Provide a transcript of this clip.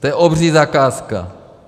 To je obří zakázka.